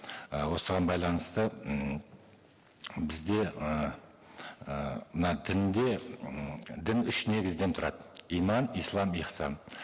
і осыған байланысты м бізде ыыы мына дінде м дін үш негізден тұрады иман ислам ихсан